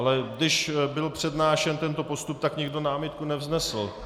Ale když byl přednášen tento postup, tak nikdo námitku nevznesl.